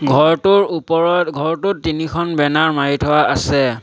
ঘৰটোৰ ওপৰত ঘৰটোত তিনিখন বেনাৰ মাৰি থোৱা আছে।